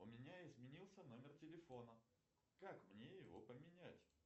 у меня изменился номер телефона как мне его поменять